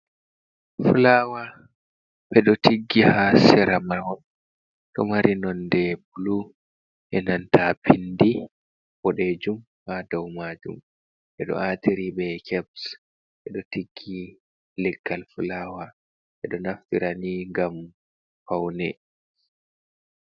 Fulawa ɓeɗo tiggi ha sera mahol, ɗo mari nonde blu e nanta pindi bo ɗejum ha dow majum, ɓe ɗo atiri be kabs ɓeɗo tiggi leggal fulawa ɓeɗo naftira ni ngam faune.